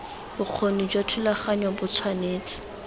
bokgoni jwa thulaganyo bo tshwanetse